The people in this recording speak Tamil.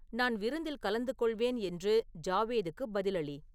நான் விருந்தில் கலந்துகொள்வேன் என்று ஜாவேதுக்குப் பதிலளி